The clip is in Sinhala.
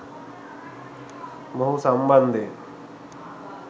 මොහු සම්බන්ධයෙන්